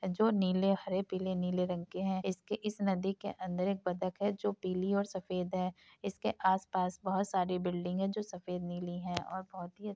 जो नीले हरे पीले नीले रंग के हैं इसके इस नदी के अंदर एक बतक है जो पीली और सफेद हैं इसके आस पास बहोत सारी बिल्डिंगे हैं जो सफेद नीली हैं और बहोत ही --